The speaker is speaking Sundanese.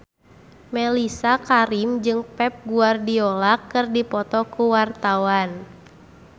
Mellisa Karim jeung Pep Guardiola keur dipoto ku wartawan